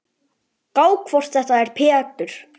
Gá hvort þetta er Pétur.